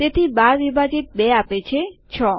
તેથી ૧૨ વિભાજિત ૨ આપે છે ૬